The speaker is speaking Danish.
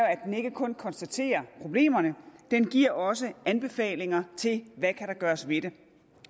at den ikke kun konstaterer problemerne den giver også anbefalinger til der kan gøres ved dem